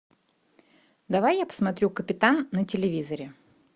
давай я посмотрю капитан на телевизоре